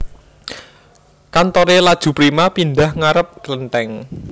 Kantore Laju Prima pindah ngarep klentheng